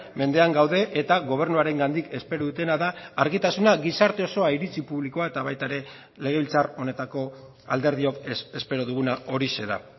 mendean gaude eta gobernuarengatik espero dutena da argitasuna gizarte osoa iritzi publikoa eta baita ere legebiltzar honetako alderdiok espero duguna horixe da